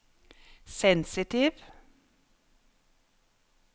sensitiv